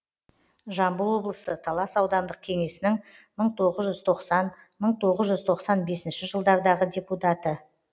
жамбыл облысы талас аудандық кеңесінің мың тоғыз жүз тоқсан мың тоғыз жүз тоқсан бесінші жылдардағы депутаты